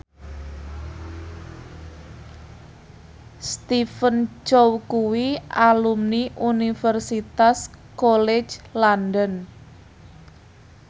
Stephen Chow kuwi alumni Universitas College London